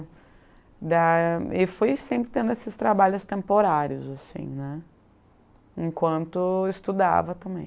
da e fui sempre tendo esses trabalhos temporários assim, né, enquanto estudava também.